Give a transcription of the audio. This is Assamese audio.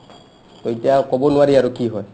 to এতিয়া ক'ব নোৱাৰি আৰু কি হয় ?